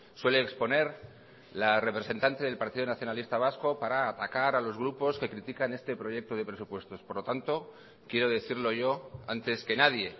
suele exponer la representante del partido nacionalista vasco para atacar a los grupos que critican este proyecto de presupuestos por lo tanto quiero decirlo yo antes que nadie